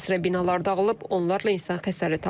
Bir sıra bina dağılıb, onlarla insan xəsarət alıb.